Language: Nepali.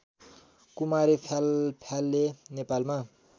कुरारी फ्यालफ्याले नेपालमा